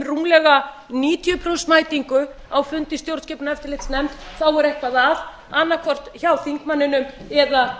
rúmlega níutíu prósent mætingu á fundi í stjórnskipunar og eftirlitsnefnd þá er eitthvað að annaðhvort hjá þingmanninum eða